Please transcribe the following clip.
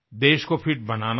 देश को फिट बनाना है